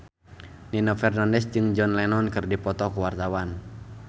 Nino Fernandez jeung John Lennon keur dipoto ku wartawan